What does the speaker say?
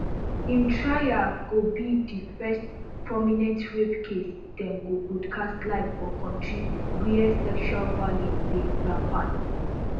im trial go be di first prominent rape case dem go broadcast live for kontri wia sexual violence dey rampat